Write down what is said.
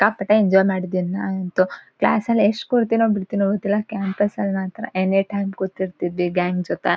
ಸಿಕ್ಕಾಪಟ್ಟೆ ಎಂಜಾಯ್ ಮಾಡಿದೀನಿ ನಾನಂತು. ಕ್ಲಾಸ್ ಅಲ್ ಎಷ್ಟ್ ಕೂರ್ತಿನೋ ಬಿಡ್ತಿನೋ ಗೊತ್ತಿಲ್ಲಾ ಕ್ಯಾಂಪಸ್ ಅಲ್ ಮಾತ್ರ ಎನಿ ಟೈಮ್ ಕೂತಿರ್ತಿದ್ವಿ ಗ್ಯಾಂಗ್ ಜೊತೆ.